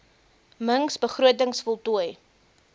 mings begrotings voltooi